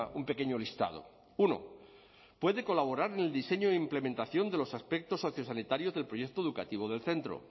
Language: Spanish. un pequeño listado uno puede colaborar en el diseño e implementación de los aspectos sociosanitarios del proyecto educativo del centro